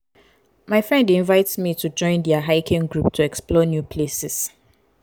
my friend dey invite me to join their hiking group to explore new places.